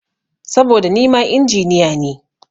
Saboda nima Injiniya ne.